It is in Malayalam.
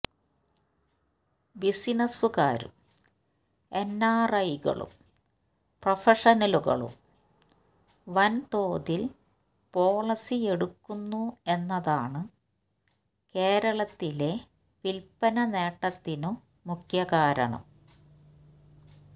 ബിസിനസുകാരും എൻആർഐകളും പ്രഫഷനലുകളും വൻ തോതിൽ പോളിസിയെടുക്കുന്നു എന്നതാണു കേരളത്തിലെ വിൽപനനേട്ടത്തിനു മുഖ്യകാരണം